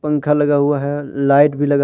पंख लगा हुआ है लाइट भी लगा--